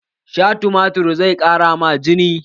Sha tumatir zai ƙara ma jini!